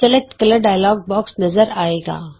ਰੰਗ ਚੌਣ dialog box ਨਜ਼ਰ ਆਏਗਾ